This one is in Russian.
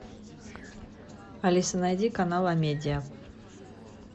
алиса найди канал амедиа